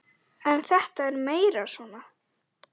En þetta er meira svona.